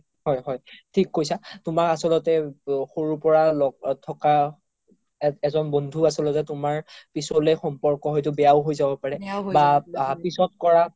হয় হয় থিক কৈছা তুমাৰ আচ্ল্তে সৰুৰ পৰা লগত থকা এজন বন্ধু আচলতে তুমাৰ পিচলে সম্পৰক বেয়াও হয় যাব পাৰে বা পিছত কৰা